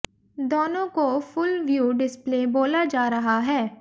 दोनों को full view display बोला जा रहा है